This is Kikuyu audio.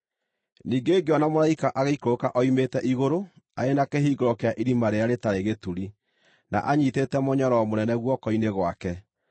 Ningĩ ngĩona mũraika agĩikũrũka oimĩte igũrũ, arĩ na kĩhingũro kĩa Irima-rĩrĩa-Rĩtarĩ-Gĩturi, na anyiitĩte mũnyororo mũnene guoko-inĩ gwake.